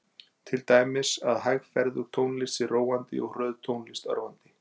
Til dæmis að hægferðug tónlist sé róandi og hröð tónlist örvandi.